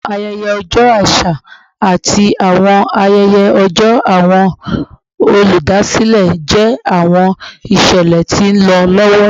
Awọn ayẹyẹ ọjọ aṣa ati awọn ayẹyẹ ọjọ Awọn oludasilẹ jẹ awọn iṣẹlẹ ti nlọ lọwọ